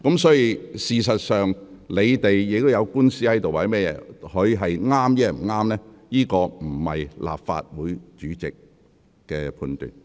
事實上，如議員有官司在身，有關的是非對錯並非由立法會主席判斷。